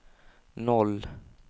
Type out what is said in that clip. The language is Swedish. noll